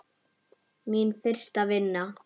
Mín fyrsta vinna.